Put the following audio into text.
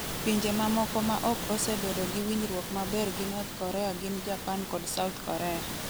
Pinje mamoko ma ok osebedo gi winjruok maber gi North Korea gin Japan kod South Korea.